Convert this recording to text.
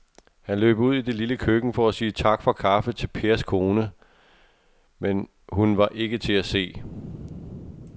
Han løb ud i det lille køkken for at sige tak for kaffe til Pers kone, men hun var ikke til at se.